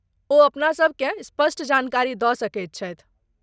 ओ अपनासभ केँ स्पष्ट जानकारी दऽ सकैत छथि।